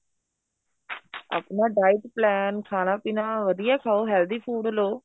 ਆਪਣਾ diet plan ਖਾਣਾ ਪੀਣਾ ਵਧੀਆ ਖਾਉ healthy food ਲੋ